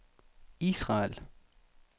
Israel